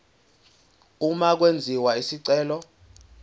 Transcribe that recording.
uma kwenziwa isicelo